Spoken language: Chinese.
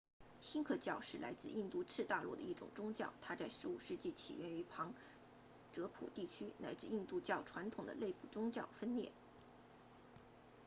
锡克教是来自印度次大陆的一种宗教它在15世纪起源于旁遮普地区来自印度教传统的内部宗派分裂